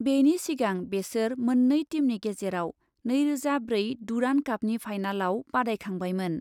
बेनि सिगां बेसोर मोननै टीमनि गेजेराव नैरोजा ब्रै डुरान्ड कापनि फाइनालाव बादायखांबायमोन।